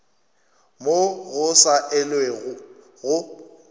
moo go sa elwego go